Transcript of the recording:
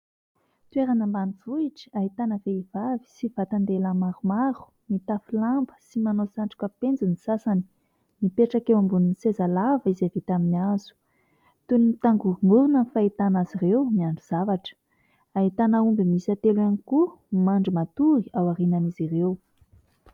Toerana ambanivohitra ahitana vehivavy sy vatan-dehilahy maromaro mitafy lamba sy manao satroka penjy ny sasany, mipetraka eo ambonin'ny sezalava izay vita amin'ny hazo. Toy ny mitangorongorona ny fahitana azy ireo, miandry zavatra. Ahitana omby miisa telo ihany koa mandry matory ao aorianan'izy ireo.